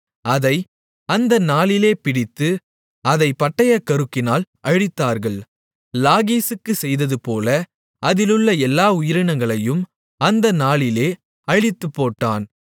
அதை அந்த நாளிலே பிடித்து அதைப் பட்டயக்கருக்கினால் அழித்தார்கள் லாகீசுக்குச் செய்ததுபோல அதிலுள்ள எல்லா உயிரினங்களையும் அந்த நாளிலே அழித்துப்போட்டான்